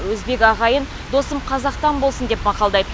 өзбек ағайын досым қазақтан болсын деп мақалдайды